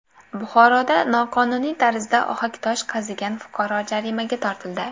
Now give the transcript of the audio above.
Buxoroda noqonuniy tarzda ohaktosh qazigan fuqaro jarimaga tortildi.